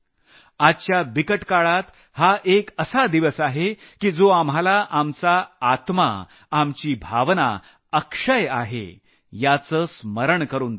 आजच्या बिकट काळात हा एक असा दिवस आहे की जो आपला आत्मा आपल्या भावना अक्षय आहे याचं स्मरण करून देतो